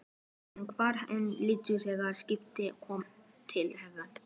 Hann var enn fýldur þegar skipið kom til hafnar.